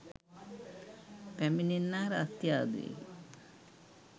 පැමිණෙන්නා රස්තියාදු වී